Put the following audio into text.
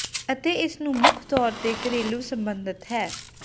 ਅਤੇ ਇਸ ਨੂੰ ਮੁੱਖ ਤੌਰ ਤੇ ਘਰੇਲੂ ਸਬੰਧਤ ਹੈ